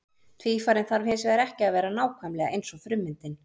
Tvífarinn þarf hins vegar ekki að vera nákvæmlega eins og frummyndin.